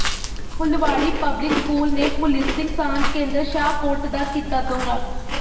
Phulwari public school ਨੇ policing ਸਾਂਝ ਕੇਂਦਰ ਸ਼ਾਹਕੋਟ ਦਾ ਕੀਤਾ ਦੌਰਾ